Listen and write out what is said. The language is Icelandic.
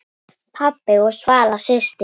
Pabbi og Svala systir.